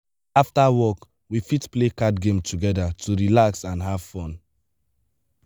after work we fit play card game together to relax and have fun.